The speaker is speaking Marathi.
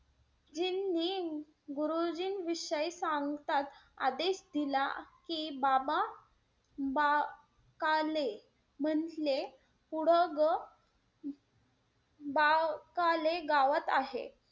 गुरुजींनी गुरुजीं विषयी सांगताच आदेश दिला की बाबा बाकाले म्हंटले पुढं ग बाकाले गावात आहे.